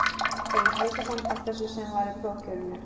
Egill Helgason: Af þessu sem var í prófkjörinu?